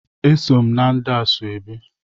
Eso m ndị meere ya ashebi.